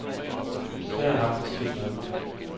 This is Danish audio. Det har jeg haft det skidt med.